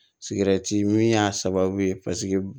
min y'a sababu ye paseke